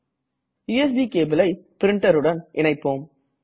USB cableஐ printer உடன் இணைப்போம்